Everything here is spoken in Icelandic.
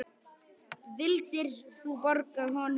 Vildir þú borga honum laun?